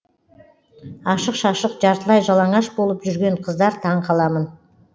ашық шашық жартылай жалаңаш болып жүрген қыздар таң қаламын